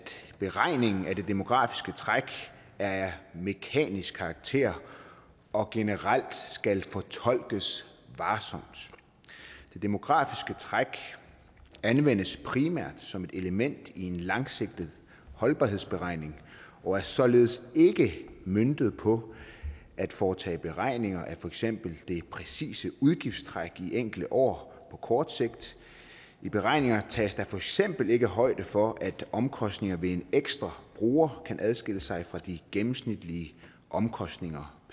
beregningen af det demografiske træk er af mekanisk karakter og generelt skal fortolkes varsomt det demografiske træk anvendes primært som et element i en langsigtet holdbarhedsberegning og er således ikke møntet på at foretage beregninger af fx det præcise udgiftstræk i enkelte år kort sigt i beregningen tages der fx ikke højde for at omkostningen ved en ekstra bruger kan adskille sig fra de gennemsnitlige omkostninger